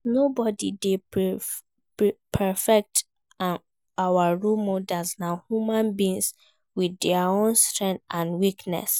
As nobody dey perfect and our role models na human beings with dia own strengths and weaknesses.